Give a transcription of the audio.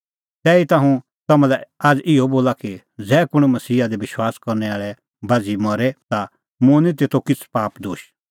तैहीता हुंह तम्हां लै आझ़ इहअ बोला कि ज़ै कुंण मसीहा दी विश्वास करनै बाझ़ी मरे ता मुंह निं तेतो किछ़ै पाप दोश